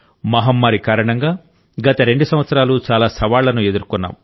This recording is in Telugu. మహమ్మారి కారణంగా గత రెండు సంవత్సరాలు చాలా సవాళ్లను ఎదుర్కొన్నాం